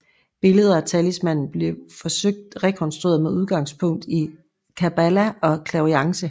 Billeder af talismaner blev forsøgt rekonstrueret med udgangspunkt i Kabbala og clairvoyance